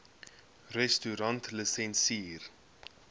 restaurantlisensier